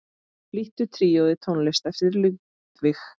Flytur tríóið tónlist eftir Ludvig.